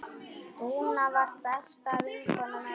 Dúna var besta vinkona mömmu.